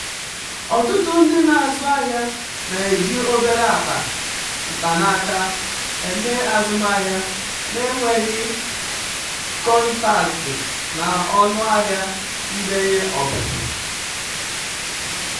ọtụtụ ndị na-azụ ahịa na-eji obere akpa mkpanaka eme azụmahịa na-enweghị kọntaktị na ọnụ ahịa ndenye ọpụpụ.